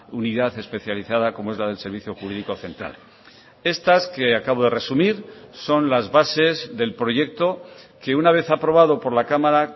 unidad especializada como es la del servicio jurídico central estas que acabo de resumir son las bases del proyecto que una vez aprobado por la cámara